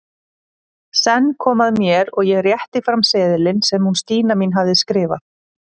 Senn kom að mér og ég rétti fram seðilinn sem hún Stína mín hafði skrifað.